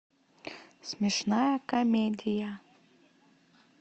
смешная комедия